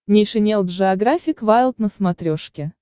нейшенел джеографик вайлд на смотрешке